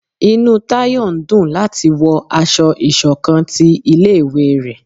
Inú tayo n dún lati wọ ásọ̀-ìsokán tí ilé ìwé ré